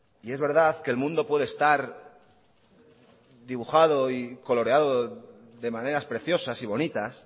y es verdad que el mundo puede estar dibujado y coloreado de maneras preciosas y bonitas